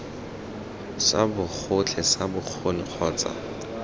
sa bogotlhe sa bokgoni kgotsa